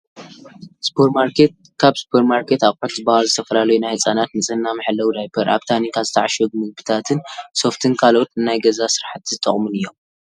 ሱፐርማርኬት፡- ካብ ሱፐርማርኬት ኣቑሑት ዝባሃሉ ዝተፈላለዩ ናይ ህፃናት ንፅህና መሐለዊ ዳይፐር፣ ኣብ ታንካ ዝተዓሸጉ ምግብታን፣ ሶፍትን ካልኦት ንናይ ገዛ ስራሕቲ ዝጠቕሙን እዮም፡፡